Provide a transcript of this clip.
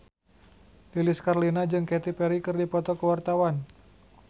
Lilis Karlina jeung Katy Perry keur dipoto ku wartawan